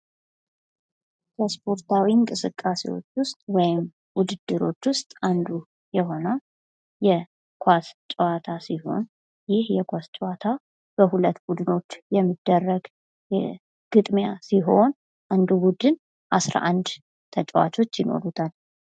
ከስፖርታዊ እንቅስቃሴዎች ውስጥ ወይም ውድድሮች ውስጥ አንዱ የሆነው የኳስ ጨዋታ ሲሆን ይህ የኳስ ጨዋታ በሁለት ቡድኖች የሚደረግ ግጥሚያ ሲሆን አንዱ ቡድን 11 ተጫዋቾች ይኖሩታል።